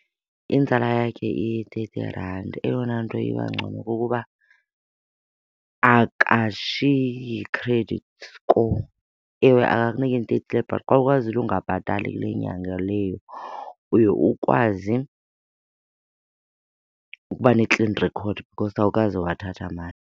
Inzala yakhe iyi-thirty rand. Eyona nto iba ngcono kukuba akashiyi credit score. Ewe akakuniki nto , xa ukwazile ungabhatali kule inyanga leyo uye ukwazi ukuba ne-clean record because awukaze wathatha mali.